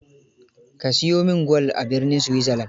Ka siyo min gwal a birnin Switzerland.